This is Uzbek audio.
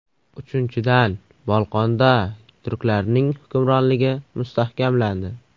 Uchinchidan, Bolqonda turklarning hukmronligi mustahkamlandi.